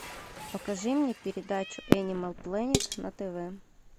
покажи мне передачу энимал плэнет на тв